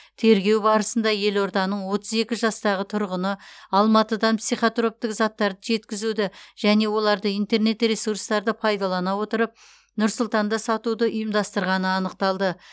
тергеу барысында елорданың отыз екі жастағы тұрғыны алматыдан психотроптық заттарды жеткізуді және оларды интернет ресурстарды пайдалана отырып нұр сұлтанда сатуды ұйымдастырғаны анықталды